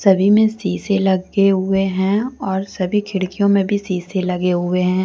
सभी मे सीसे लगे हुए हैंऔर सभी खिड़कियों मे भी सीसे लगे हुए हैं।